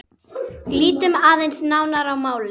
Lítum aðeins nánar á málið.